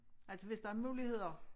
Altså hvis der muligheder